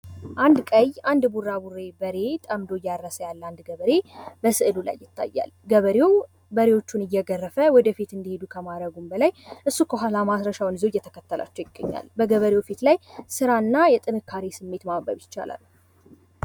አንድ ቀይ አንድ ቡራቡሬ በሬ ጠምዶ እያረሰ ያለ ገበሬ በስዕሉ ላይ ይታያል። ገበሬዉ በሬዎቹን እየገረፈ ወደ ፊት እንዲሄዱ ከማድረጉ በላይ እሱ ከኋላ ማረሻዉን ይዞ እየተከተላቸዉ ይታያል። በገበርዉ ፊት ላይ ስራ እና ላይ የጥንካሬ ስሜት ይታያል።